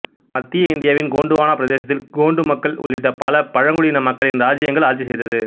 மத்திய இந்தியாவின் கோண்டுவான பிரதேசத்தில் கோண்டு மக்கள் உள்ளிட்ட பல பழங்குடியின மக்களின் இராச்சியங்கள் ஆட்சி செய்தது